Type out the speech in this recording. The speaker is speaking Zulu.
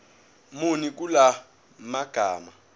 muni kula magama